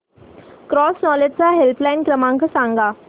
cross knowledge चा helpline क्रमांक सांगा